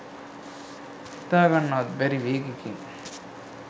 හිතා ගන්නවත් බැරි වේගෙකින්